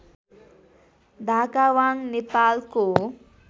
धाकावाङ नेपालको